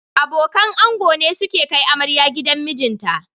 Abokan ango ne suke kai amarya gidan mijinta